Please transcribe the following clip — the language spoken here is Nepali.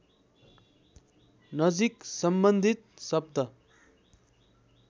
नजिक सम्बन्धित शब्द